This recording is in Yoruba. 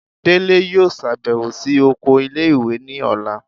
Délé yóò ṣabẹwo si okò ìlé-ìwé ní ọla